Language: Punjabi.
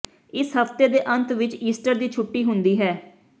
ਇਸ ਹਫ਼ਤੇ ਦੇ ਅੰਤ ਵਿੱਚ ਈਸਟਰ ਦੀ ਛੁੱਟੀ ਹੁੰਦੀ ਹੈ